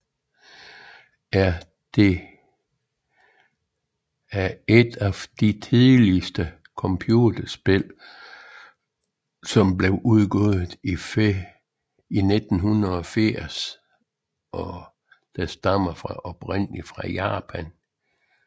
er et af de tidligste computerspil som blev udgivet i 1980 og stammer oprindeligt fra Japan